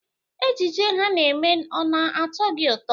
Ejije ha na-eme ọ na-atọ gị ụtọ.